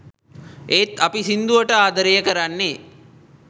ඒත් අපි සින්දුවට ආදරේ කරන්නේ